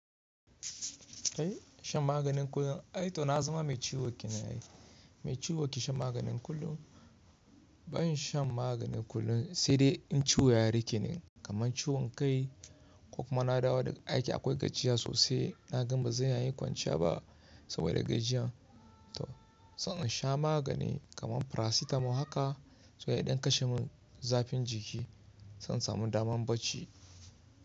Shan maganin kullum, ai to na zama mai ciwo kinayi. Mai ciwo ke shan maganin kullum. Ban shan maganin kullum sai dai in ciwo ya rike ni kamar ciwon kai ko kuma na dawo daga aiki akwai gajiya sosai na gan ba zan iya kwanciya ba saboda gajiyan to zan sha magani kamar farasitamol haka saboda ya ɗam kashe mun zafin jiki to insamu daman bacci.